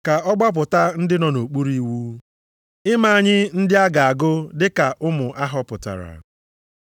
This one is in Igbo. ka ọ gbapụta ndị nọ nʼokpuru iwu, ime anyị ndị a ga-agụ dị ka ụmụ a họpụtara.